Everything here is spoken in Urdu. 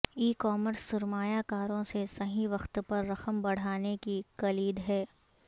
ای کامرس سرمایہ کاروں سے صحیح وقت پر رقم بڑھانے کی کلید ہے